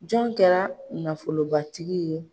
Jɔn kɛra nafolobatigi ye?